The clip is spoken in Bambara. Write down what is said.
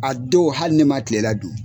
A don hali ne ma kilela dun.